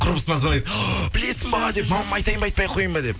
құрбысына звандайды білесің ба деп мамама айтайын ба айтпайақ қояйын ба деп